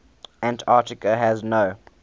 antarctica has no